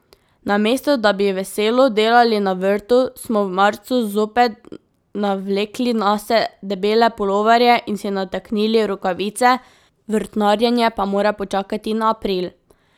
Namesto da bi veselo delali na vrtu, smo v marcu zopet navlekli nase debele puloverje in si nataknili rokavice, vrtnarjenje pa mora počakati na april.